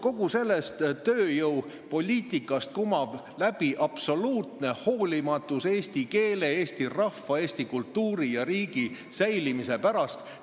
Kogu sellest tööjõupoliitikast kumab läbi absoluutne hoolimatus eesti keele, eesti rahva, eesti kultuuri ja Eesti riigi säilimise vastu.